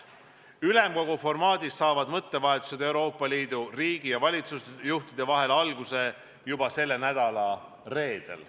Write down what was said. Ülemkogu formaadis saavad mõttevahetused Euroopa Liidu riigi- ja valitsusjuhtide vahel alguse juba selle nädala reedel.